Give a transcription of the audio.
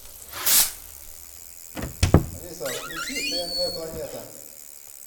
алиса включи тнв планета